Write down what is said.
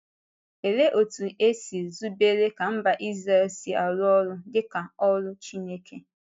Olee otú e si zubere ka mba Izrel si arụ ọrụ dị ka “ọ́rụ” Chineke?